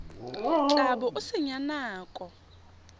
tla bo o senya nako